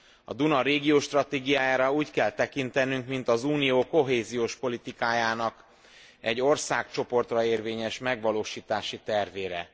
A Duna régió stratégiájára úgy kell tekintenünk, mint az Unió kohéziós politikájának egy országcsoportra érvényes megvalósítási tervére.